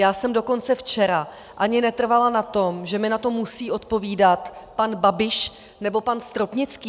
Já jsem dokonce včera ani netrvala na tom, že mi na to musí odpovídat pan Babiš nebo pan Stropnický.